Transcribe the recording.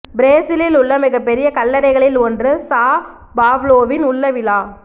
பிரேசிலில் உள்ள மிகப்பெரிய கல்லறைகளில் ஒன்று சா பாவ்லோவின் உள்ள விலா